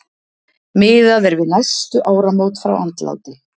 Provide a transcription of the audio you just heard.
Miðað er við næstu áramót frá andláti.